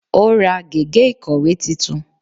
Ó ra gègé ìkọ̀wé titun